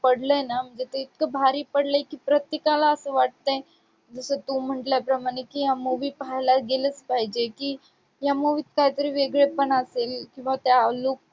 पडलंय ना ते इतकं भारी पडलंय की प्रत्येकाला असं वाटतंय जसं तू म्हंटल्याप्रमाणे की हा movie पाहायला गेलंच पाहिजे की या movie त कायतरी वेगळंपण असेल किंवा त्या look